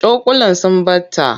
Cokulan sun ɓata.